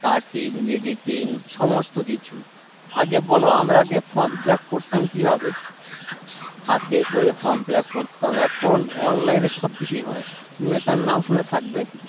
cutting editing সমস্তকিছু আগে বলো আমরা আগে form fill up করতাম কিভাবে হাতে করে form fill up করতাম এখন online এ সবকিছুই হয় তুমি হয়তো নাম শুনে থাকবে